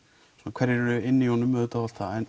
hverjir eru inn í honum auðvitað